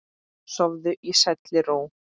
Sofðu í sælli ró.